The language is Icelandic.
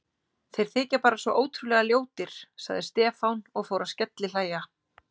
Þeir þykja bara svo ótrúlega ljótir sagði Stefán og fór að skellihlæja.